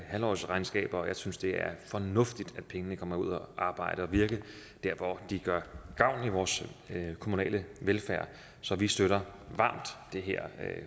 halvårsregnskaber jeg synes det er fornuftigt at pengene kommer ud at arbejde og virke dér hvor de gør gavn i vores kommunale velfærd så vi støtter varmt det her